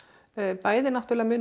bæði náttúrulega mun